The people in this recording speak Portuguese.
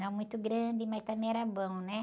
Não muito grande, mas também era bom, né?